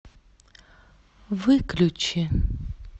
выключи